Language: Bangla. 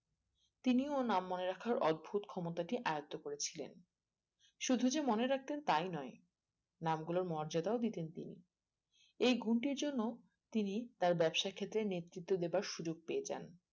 তিনি ও নাম মনে রাখার অদ্ভতটি আয়ত্ত্ব করে ছিলেন শুধু যে মনে রাখতেন তাই নয় নাম গুলোর মর্যাদাও দিতেন তিনি এই গুণটির জন্য তিনি তার ব্যবসা খেতে নেতৃত্ব দেওয়ার সুযোগ পেয়ে যান